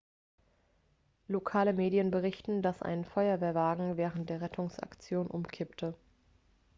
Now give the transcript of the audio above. lokale medien berichten dass ein feuerwehrwagen während der rettungsaktion umkippte